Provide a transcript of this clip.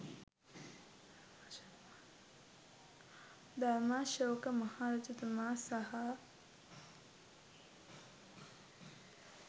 ධර්මාශෝක මහරජතුමා සහ